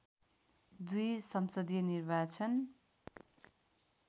२ संसदीय निर्वाचन